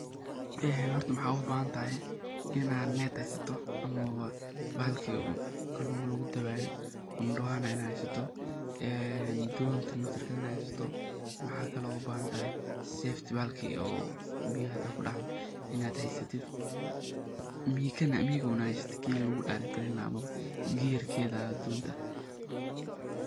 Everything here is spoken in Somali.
Sheygan horta maxad ugu bahantahay inaa net heysato ama bahalki kalunka lagu dabaye ndwanoi, dontina heysata iyo mikihi oo lagu directi gareynaye oo mesha inu kamarnen waye oo waa donta giyirkeda.